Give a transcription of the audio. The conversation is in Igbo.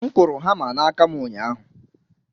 M kụrụ hama n'aka m ụnyahụ